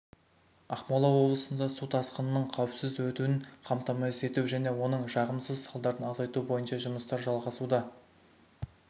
ақмола облысында су тасқынының қауіпсіз өтуін қамтамасыз ету және оның жағымсыз салдарын азайту бойынша жұмыстар жалғасуда